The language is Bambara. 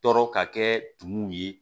Tɔɔrɔ ka kɛ tumu ye